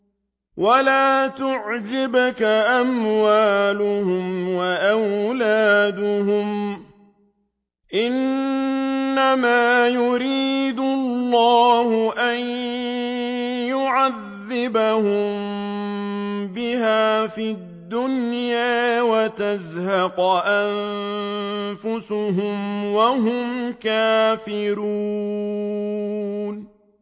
وَلَا تُعْجِبْكَ أَمْوَالُهُمْ وَأَوْلَادُهُمْ ۚ إِنَّمَا يُرِيدُ اللَّهُ أَن يُعَذِّبَهُم بِهَا فِي الدُّنْيَا وَتَزْهَقَ أَنفُسُهُمْ وَهُمْ كَافِرُونَ